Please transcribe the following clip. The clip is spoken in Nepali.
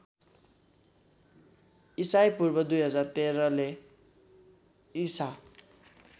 ईपू १०१३ ले ईसा